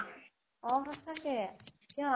অ সঁচাকে, কিয়?